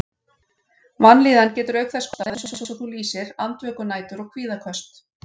Vanlíðan getur auk þess kostað, eins og þú lýsir, andvökunætur og kvíðaköst.